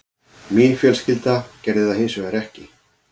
Mín fjölskylda gerði það hins vegar ekki